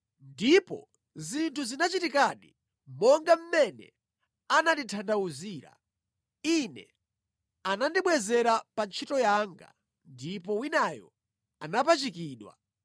Ndipo zinthu zinachitikadi monga mmene anatitanthauzira. Ine anandibwezera pa ntchito yanga ndipo winayo anapachikidwa.”